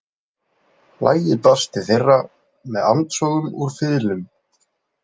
Lagið barst til þeirra með andsogum úr fiðlum.